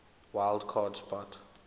wild card spot